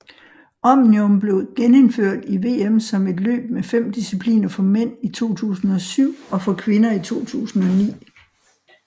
Omnium blev genindført i VM som et løb med 5 discipliner for mænd i 2007 og for kvinder i 2009